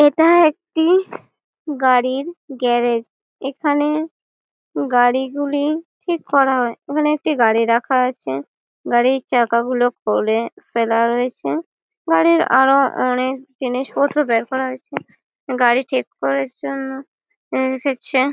এটা একটি গাড়ির গ্যারেজ ।এখানে গাড়িগুলি ঠিক করা হয় ঐখানে একটি গাড়ি রাখা আছে ।গাড়ির চাকাগুলি খুলে ফেলা হয়েছে৷ গাড়ির আরো অনেক জিনিসপত্র বের করা হয়েছে৷ গাড়ি ঠিক করার জন্য আ রেখেছে।